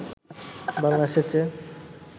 বাংলাদেশের চেয়ে